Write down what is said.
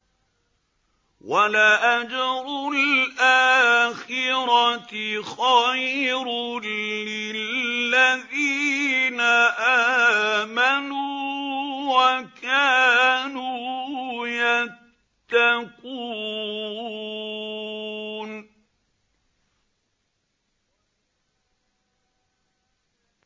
وَلَأَجْرُ الْآخِرَةِ خَيْرٌ لِّلَّذِينَ آمَنُوا وَكَانُوا يَتَّقُونَ